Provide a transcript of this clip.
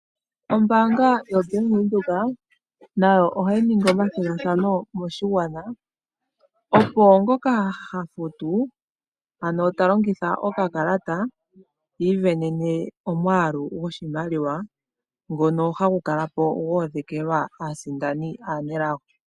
Ombanga yobank windhoek nayo ohayi ningi omathigathano moshigwana opo ngoka ha futu ano ta longitha okakalta isindanene omwalu gwoshimaliwa ngono hagu kalapo gwo odhekelwa aasindani aanelago.